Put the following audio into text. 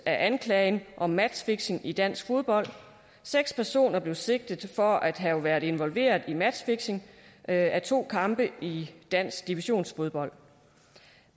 anklagen om matchfixing i dansk fodbold seks personer blev sigtet for at have været involveret i matchfixing af to kampe i dansk divisionsfodbold